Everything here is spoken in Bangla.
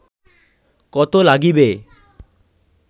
কত লাগিবে